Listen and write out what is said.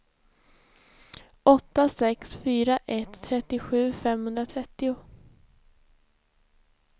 åtta sex fyra ett trettiosju femhundratrettio